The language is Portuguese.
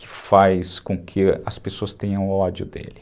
que faz com que as pessoas tenham ódio dele.